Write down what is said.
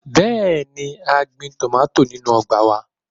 Bẹẹni, a gbin tomati ninu ọgba wa